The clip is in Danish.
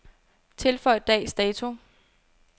Tilføj dags dato.